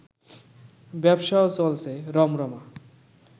ব্যবসাও চলছে রমরমা